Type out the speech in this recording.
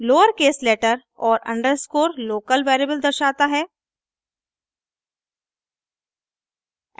lower case letter और underscore local variable दर्शाता है